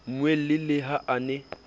mmuele le ha a ne